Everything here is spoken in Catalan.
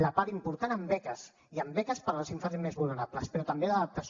la part important en beques i en beques per als infants més vulnerables però també d’adaptació